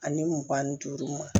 Ani mugan ni duuru ma